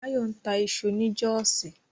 Báyọ̀ ń ta iṣu ni Jọ́ọ̀sí